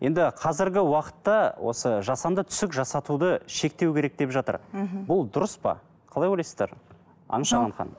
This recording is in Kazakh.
енді қазіргі уақытта осы жасанды түсік жасатуды шектеу керек деп жатыр мхм бұл дұрыс па қалай ойлайсыздар